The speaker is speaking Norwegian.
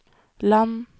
land